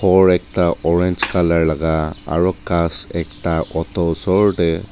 or ekta orange colour laka aro ghas ekta auto osor tae.